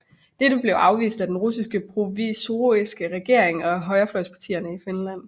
Dette blev afvist af den russiske provisoriske regering og af højrefløjspartierne i Finland